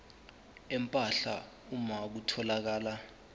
empahla uma kutholakala